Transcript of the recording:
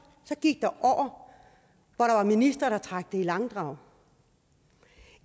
så gik der år hvor ministre trak det i langdrag